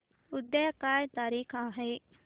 उद्या काय तारीख आहे